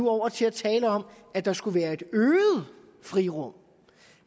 over til at tale om at der skulle være et øget frirum